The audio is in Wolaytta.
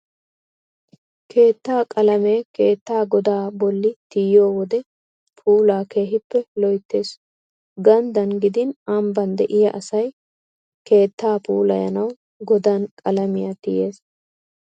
Keettaa qalamee keettaa godaa bolli tiyiyo wode puulaa keehippe loyttees. Ganddan gidin ambban de'iyaa asay keettaa puulayanawu godan qalamiyaa tiyees.